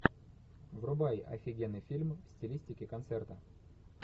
врубай офигенный фильм в стилистике концерта